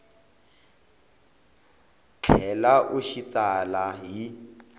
tlhela u xi tsala hi